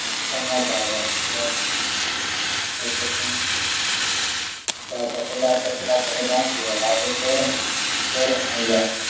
પણ ચાલે એટલે કે ત્યાં તપેલા તેપેલા ઢાંકી આવ્યા રાતે ચોર આવ્યા